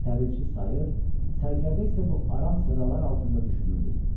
Təbilçi sayır, sərkərdə isə bu aram sədalar altında düşünürdü.